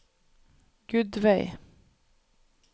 Gudveig